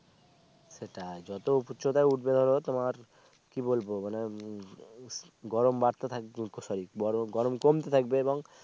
সেটা যতো উচ্চতায় উঠবে ধরো তোমার কি বলবো মানে গরম বারতে থাকবে গরম গরম কমতে থাকবে সেটাই